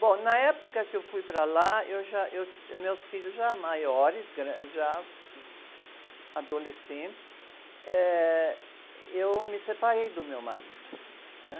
Bom, na época que eu fui para lá, eu já, eu, meus filhos já maiores, gran, já adolescentes, eh, eu me separei do meu marido, né?